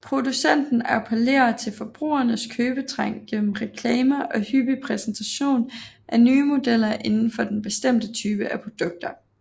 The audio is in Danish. Producenten appellerer til forbrugerens købetrang gennem reklamer og hyppig præsentation af nye modeller inden for den bestemte type af produkter